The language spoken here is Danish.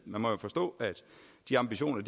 man må jo forstå at de ambitioner